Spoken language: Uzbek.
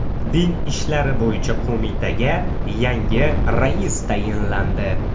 Din ishlari bo‘yicha qo‘mitaga yangi rais tayinlandi.